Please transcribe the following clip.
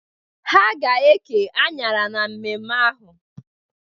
Ha ga-eke anyara na mmemme ahụ.